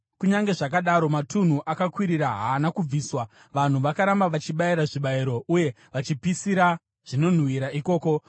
Kunyange zvakadaro, matunhu akakwirira haana kubviswa; vanhu vakaramba vachibayira zvibayiro uye vachipisira zvinonhuhwira ikoko.